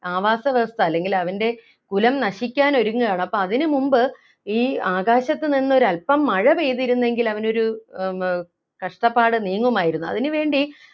ആവാസ വ്യവസ്ഥ അല്ലെങ്കിൽ അവൻ്റെ കുലം നശിക്കാൻ ഒരുങ്ങുകയാണ് അപ്പോ അതിനുമുമ്പ് ഈ ആകാശത്തുനിന്നും ഒരല്പം മഴ പെയ്തിരുന്നെങ്കിൽ അവനൊരു ഏർ കഷ്ടപ്പാട് നീങ്ങുമായിരുന്നു അതിനു വേണ്ടി